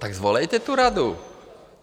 Tak svolejte tu radu.